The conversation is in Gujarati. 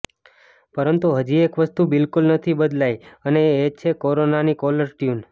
પરંતુ હજી એક વસ્તુ બિલકુલ નથી બદલાઈ અને એ છે કોરોનાની કોલર ટ્યુન